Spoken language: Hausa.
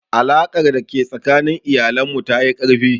Alaƙar da ke tsakanin iyalan mu ta yi ƙarfi